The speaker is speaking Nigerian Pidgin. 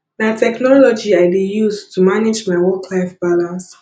na technology i dey use to manage my worklife balance